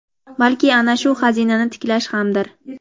balki ana shu xazinani tiklash hamdir.